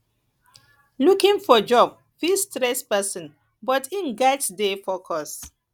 looking for job fit stress pesin but im gats dey focused